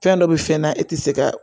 Fɛn dɔ bɛ fɛn na e tɛ se ka